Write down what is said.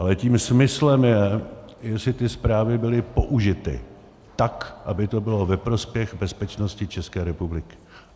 Ale tím smyslem je, jestli ty zprávy byly použity tak, aby to bylo ve prospěch bezpečnosti České republiky.